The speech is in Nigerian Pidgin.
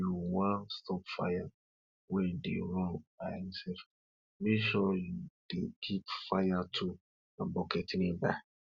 if you wan stop fire wey dey run by himself make sure you dey keep fire tools and bucket nearby